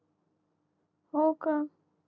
हो का